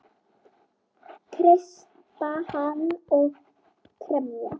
Kreista hana og kremja.